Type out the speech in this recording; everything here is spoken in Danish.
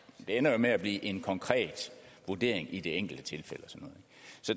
det ender jo med at blive en konkret vurdering i det enkelte tilfælde